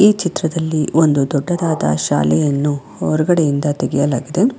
ಈ ಚಿತ್ರದಲ್ಲಿ ಒಂದು ದೊಡ್ಡದಾದ ಶಾಲೆಯನ್ನು ಹೊರಗಡೆಯಿಂದ ತೆಗೆಯಲಾಗಿದೆ.